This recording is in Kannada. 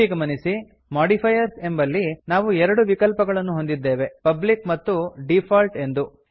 ಇಲ್ಲಿ ಗಮನಿಸಿ ಮಾಡಿಫೈಯರ್ಸ್ ಎಂಬಲ್ಲಿ ನಾವು ಎರಡು ವಿಕಲ್ಪಗಳನ್ನು ಹೊಂದಿದ್ದೇವೆ ಪಬ್ಲಿಕ್ ಮತ್ತು ಡಿಫಾಲ್ಟ್ ಎಂದು